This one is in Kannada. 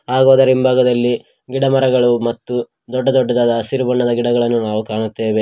ಹಾಗೂ ಅದರ ಇಂಭಾಗದಲ್ಲಿ ಗಿಡಮರಗಳು ಮತ್ತು ದೊಡ್ಡ ದೊಡ್ಡದಾದ ಹಸಿರು ಬಣ್ಣದ ಗಿಡಗಳನ್ನು ನಾವು ಕಾಣುತ್ತೇವೆ.